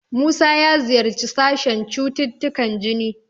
Musa ya ziyarci sashen cututtukan jini.